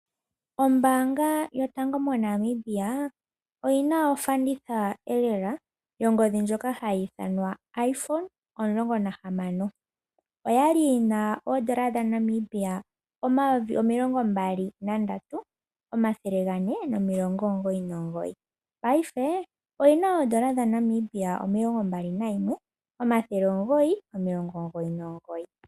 Ombanga yotango moNamibia oyina ofanditha elela yongodhi ndjoka hayi ithanwa iPhone omulongo nahamano. Oyali yina oodollar dhaNamibia omayovi omilongo mbali nandatu omathele gane nomilongo omugoyi nomugoyi. Paife oyina oodollar dhaNamibia omayovi omilongo mbali nayimwe omathele omugoyi nomilongo omugoyi nomugoyi.